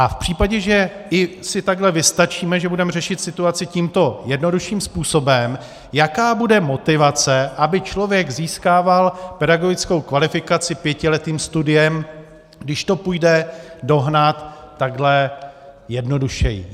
A v případě, že i si takhle vystačíme, že budeme řešit situaci tímto jednodušším způsobem, jaká bude motivace, aby člověk získával pedagogickou kvalifikaci pětiletým studiem, když to půjde dohnat takhle jednodušeji.